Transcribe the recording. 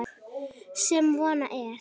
Sem von er.